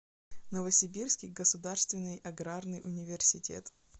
новосибирский государственный аграрный университет